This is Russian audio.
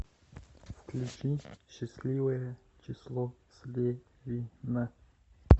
включи счастливое число слевина